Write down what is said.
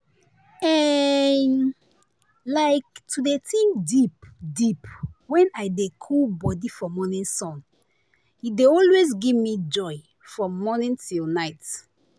eehi like to dey think deep deep wen i dey cool body for morning sun e dey always give me joy from morning till night.